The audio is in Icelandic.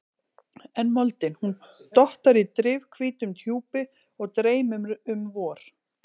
En moldin, hún dottar í drifhvítum hjúpi og dreymir um vor.